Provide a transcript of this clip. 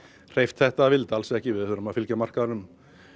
hreyft þetta að vild alls ekki við þurfum að fylgja markaðnum